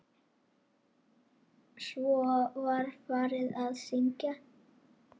Trén beygja greinar sínar.